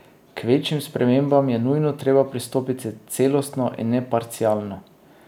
K večjim spremembam je nujno treba pristopiti celostno in ne parcialno.